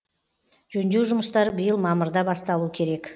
жөндеу жұмыстары биыл мамырда басталу керек